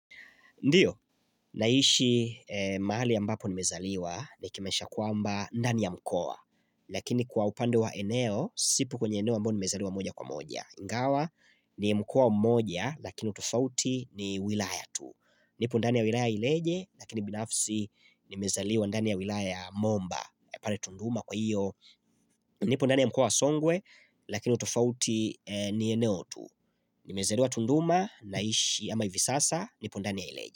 Ndiyo, naishi mahali ambapo nimezaliwa ni kimesha kuamba ndani ya mkua. Lakini kwa upande wa eneo, sipo kwenye eneo ambapo nimezaliwa moja kwa moja. Ingawa, ni mkoa mmoja, lakini utofauti ni wilaya tu. Nipo ndani ya wilaya ileje, lakini binafsi ni mezaliwa ndani ya wilaya momba. Pare tunduma kwa iyo, nipo ndani ya mkoa wa songwe, lakini utofauti ni eneo tu. Nimezaliwa tunduma, naishi ya ama hivi sasa, nipo ndani ya ileje.